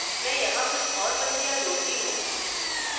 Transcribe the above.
मैं यहाँ कुछ और पंक्तियाँ जोड़ती हूँ